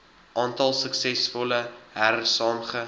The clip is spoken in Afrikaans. aantal suksesvolle hersaamge